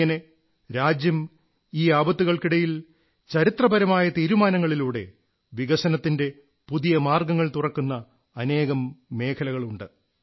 ഇങ്ങനെ രാജ്യം ഈ ആപത്തുകൾക്കിടയിൽ ചരിത്രപരമായ തീരുമാനങ്ങളിലൂടെ വികസനത്തിന്റെ പുതിയ മാർഗ്ഗങ്ങൾ തുറക്കുന്ന അനേകം മേഖലകളുണ്ട്